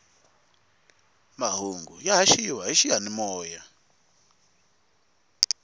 mahungu ya haxiwa hi xiyanimoya